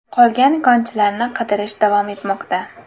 Qolgan konchilarni qidirish davom etmoqda.